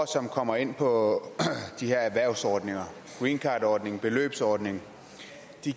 som kommer ind på de her erhvervsordninger greencardordningen beløbsordningen